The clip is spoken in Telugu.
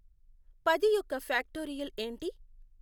పది యొక్క ఫ్యాక్టోరియల్ ఏంటి